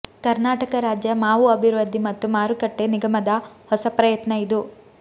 ಕರ್ನಾಟಕ ರಾಜ್ಯ ಮಾವು ಅಭಿವೃದ್ಧಿ ಮತ್ತು ಮಾರುಕಟ್ಟೆ ನಿಗಮದ ಹೊಸ ಪ್ರಯತ್ನ ಇದು